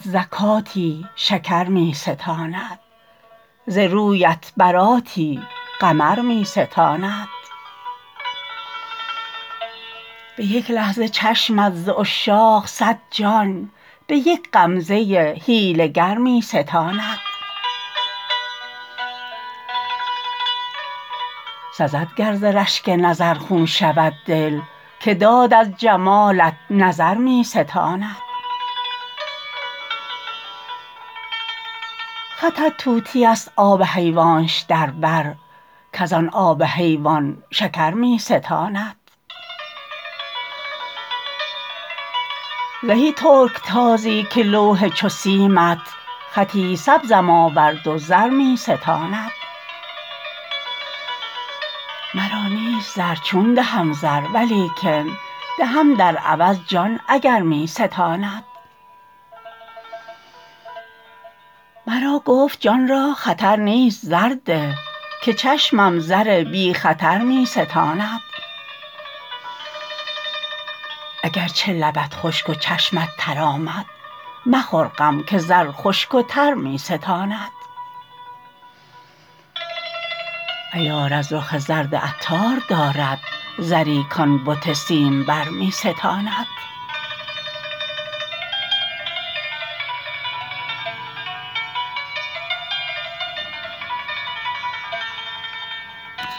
زکاتی شکر می ستاند ز رویت براتی قمر می ستاند به یک لحظه چشمت ز عشاق صد جان به یک غمزه حیله گر می ستاند سزد گر ز رشک نظر خون شود دل که داد از جمالت نظر می ستاند خطت طوطی است آب حیوانش در بر کزان آب حیوان شکر می ستاند زهی ترکتازی که لوح چو سیمت خطی سبزم آورد و زرمی ستاند مرا نیست زر چون دهم زر ولیکن دهم در عوض جان اگر می ستاند مرا گفت جان را خطر نیست زر ده که چشمم زر بی خطر می ستاند اگرچه لبت خشک و چشمت تر آمد مخور غم که زر خشک و تر می ستاند عیار از رخ زرد عطار دارد زری کان بت سیم بر می ستاند